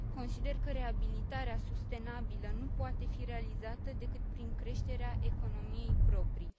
Consider că reabilitarea sustenabilă nu poate fi realizată decât prin creșterea economiei proprii.